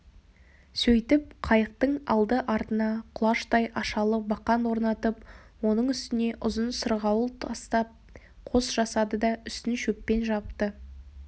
сөйтіп қайықтың алды-артына құлаштай ашалы бақан орнатып оның үстіне ұзын сырғауыл тастап қос жасады да үстін шөппен жапты